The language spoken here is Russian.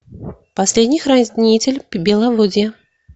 последний хранитель беловодья